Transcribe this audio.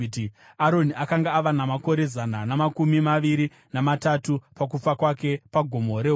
Aroni akanga ava namakore zana namakumi maviri namatatu pakufa kwake paGomo reHori.